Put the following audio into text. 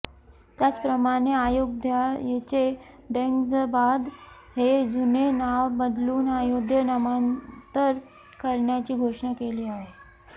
त्याच प्रमाणे अयोगध्येचे ङ्गैजाबाद हे जुने नाव बदलून अयोध्या हे नामांतर करण्याची घोषणा केली आहे